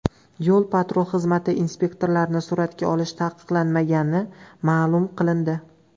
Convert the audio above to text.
Yo‘l-patrul xizmati inspektorlarini suratga olish taqiqlanmagani ma’lum qilindi.